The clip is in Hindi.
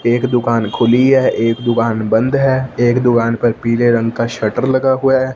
एक दुकान खुली है एक दुकान बंद है एक दुकान पर पीले रंग का शटर लगा हुआ --